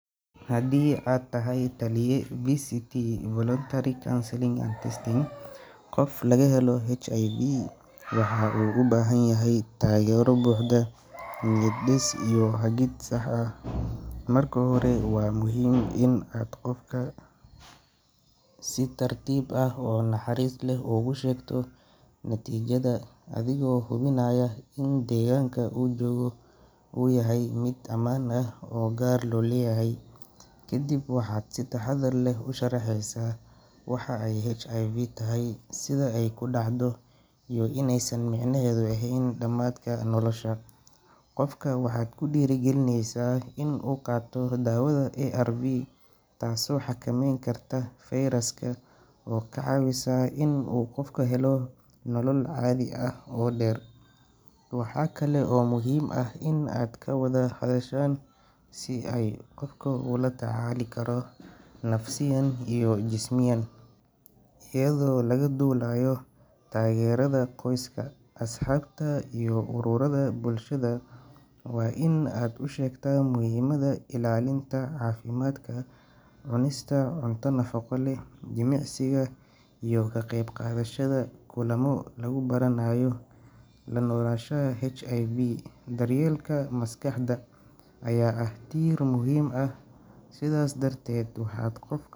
Haddii aad tahay taliye VCT (Voluntary Counseling and Testing) qof laga helo HIV waxa uu u baahan yahay taageero buuxda, niyad dhis iyo hagid sax ah. Marka hore, waa muhiim inaad qofka si tartiib ah oo naxariis leh ugu sheegto natiijada, adigoo hubinaya in deegaanka uu joogo uu yahay mid ammaan ah oo gaar loo leeyahay. Kadib, waxaad si taxaddar leh u sharaxaysaa waxa ay HIV tahay, sida ay ku dhacdo, iyo inaysan micnaheedu ahayn dhammaadka nolosha. Qofka waxaad ku dhiirrigelinaysaa in uu qaato daawada ARV, taasoo xakamayn karta fayraska oo ka caawisa inuu qofku helo nolol caadi ah oo dheer. Waxa kale oo muhiim ah in aad ka wada hadashaan sida uu qofka ula tacaali karo nafsiyan iyo jismiyan, iyadoo laga duulayo taageerada qoyska, asxaabta iyo ururada bulshada. Waa in aad u sheegtaa muhiimadda ilaalinta caafimaadka, cunista cunto nafaqo leh, jimicsiga, iyo ka qayb qaadashada kulamo lagu baranayo la noolaanshaha HIV. Daryeelka maskaxda ayaa ah tiir muhiim ah sidaas darteed waxaad qof.